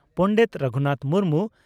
Pandit Raghunath Murmu